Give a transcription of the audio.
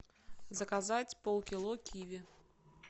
заказать полкило киви